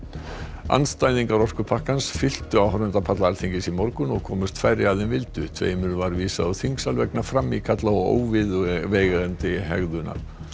andstæðingar orkupakkans fylltu áhorfendapalla Alþingis í morgun og komust færri að en vildu tveimur var vísað úr þingsal vegna frammíkalla og óviðeigandi hegðunar